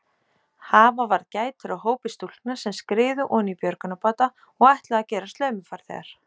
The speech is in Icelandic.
Hafa varð gætur á hópi stúlkna sem skriðu oní björgunarbáta og ætluðu að gerast laumufarþegar.